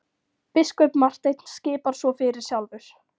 Biskup Marteinn skipar svo fyrir sjálfur!